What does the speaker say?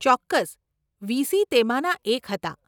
ચોક્કસ, વીસી તેમાંના એક હતાં.